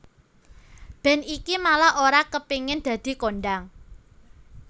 Band iki malah ora kepengin dadi kondhang